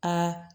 Aa